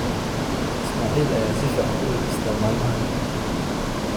Ismacil ayaa si fiican u labbista maalmahan